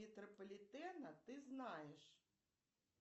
метрополитена ты знаешь